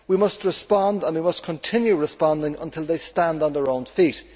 We must respond and we must continue responding until they stand on their own feet.